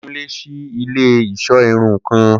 Kunle ṣii ile-iṣọ irun kan